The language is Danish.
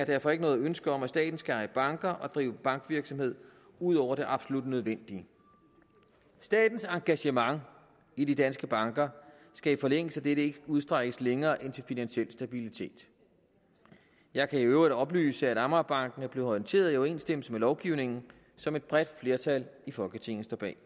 derfor ikke noget ønske om at staten skal eje banker og drive bankvirksomhed ud over det absolut nødvendige statens engagement i de danske banker skal i forlængelse af dette ikke udstrækkes længere end til finansiel stabilitet jeg kan i øvrigt oplyse at amagerbanken er blevet orienteret i overensstemmelse med lovgivningen som et bredt flertal i folketinget står bag